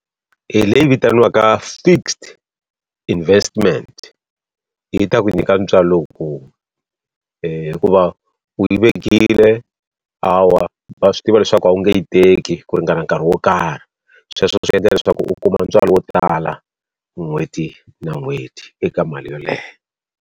Hi leyi vitaniwaka fixed investment, yi ta ku nyika ntswalo lowukulu. hikuva u yi vekile, hawa va swi tiva leswaku a wu nge yi teki ku ringana nkarhi. Sweswo swi endla leswaku u kuma ntswalo wo tala n'hweti na n'hweti eka mali yoleyo.